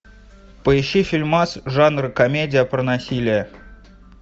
поищи фильмас жанра комедия про насилие